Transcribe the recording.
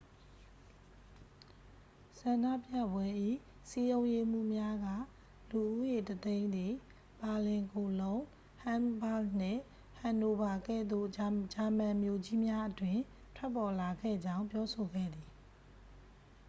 ဆန္ဒပြပွဲ၏ စည်းရုံးရေးမှူးများက လူဦးရေ 100,000 သည် ဘာလင် ကိုလုံး ဟမ်းဘာ့ဂ်နှင့် ဟန်နိုဗာကဲ့သို့ ဂျာမန်မြို့ကြီးများအတွင်း ထွက်ပေါ်လာခဲ့ကြောင်း ပြောဆိုခဲ့သည်